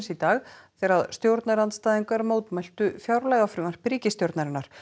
í dag þegar stjórnarandstæðingar mótmæltu fjárlagafrumvarpi ríkisstjórnarinnar